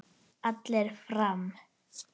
Allir fram!